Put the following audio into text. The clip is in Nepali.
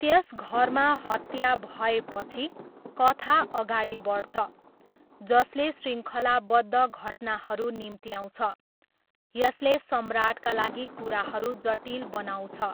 त्यस घरमा हत्या भएपछि, कथा अगाडि बढ्छ, जसले श्रृङ्खलाबद्ध घटनाहरू निम्त्याउँछ, यसले सम्राटका लागि कुराहरू जटिल बनाउँछ।